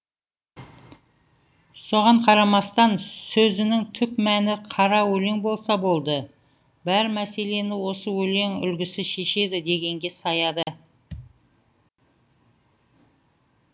соған қарамастан сөзінің түп мәні қара өлең болса болды бар мәселені осы өлең үлгісі шешеді дегенге саяды